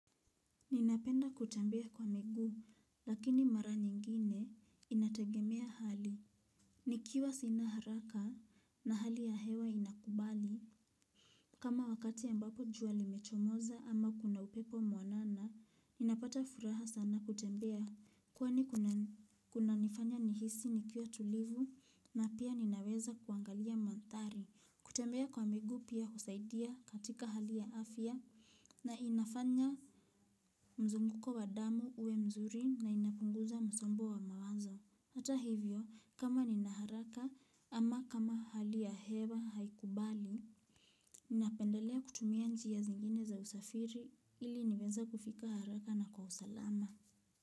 Ninapenda kutembea kwa miguu, lakini mara nyingine inategemea hali. Nikiwa sina haraka na hali ya hewa inakubali. Kama wakati ambapo jua limechomoza ama kuna upepo mwanana, ninapata furaha sana kutembea. Kwani kunanifanya nihisi nikiwa tulivu na pia ninaweza kuangalia mandhari. Kutembea kwa miguu pia husaidia katika hali ya afya na inafanya mzunguko wa damu uwe mzuri na inapunguza msombo wa mawazo. Hata hivyo, kama nina haraka ama kama hali ya hewa haikubali, ninapendelea kutumia njia zingine za usafiri ili niweze kufika haraka na kwa usalama.